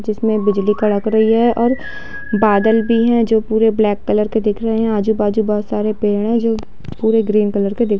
जिसमें बिजली कड़क रही है और बादल भी है जो पूरे ब्लैक कलर के दिख रहे है आजू बाजू बहुत सारे पेड़ हैं जो पूरे ग्रीन कलर दिख--